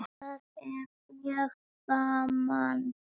Það er mjög gaman.